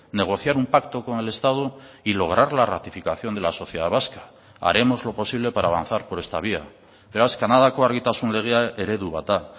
negociar un pacto con el estado y lograr la ratificación de la sociedad vasca haremos lo posible para avanzar por esta vía beraz kanadako argitasun legea eredu bat da